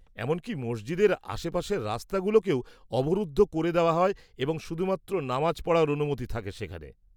-এমনকি মসজিদের আশপাশের রাস্তাগুলোকেও অবরুদ্ধ করে দেওয়া হয় এবং শুধুমাত্র নামাজ পড়ার অনুমতি থাকে সেখানে।